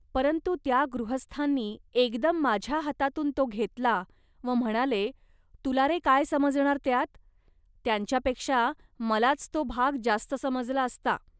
परंतु त्या गृहस्थांनी एकदम माझ्या हातातून तो घेतला व म्हणाले, "तुला रे काय समजणार त्यात. त्यांच्यापेक्षा मलाच तो भाग जास्त समजला असता